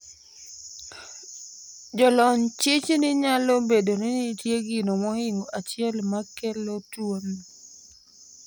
Jolony chich ni nyalo bedo ni nitie gino mohingo achiel makelo tuo no